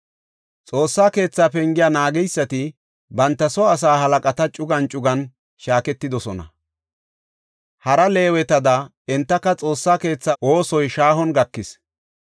Xoossa keetha pengiya naageysati banta soo asaa halaqata cugan cugan shaaketidosona. Hara Leewetada entaka Xoossa keetha oosoy shaahon gakis.